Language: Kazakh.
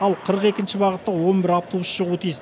ал қырық екінші бағытта он бір автобус шығуы тиіс